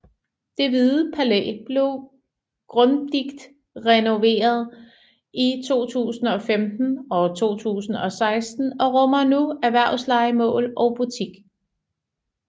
Det Hvide Palæ blev grunddigt renoveret i 2015 og 2016 og rummer nu erhvervslejemål og butik